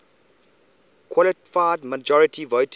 qualified majority voting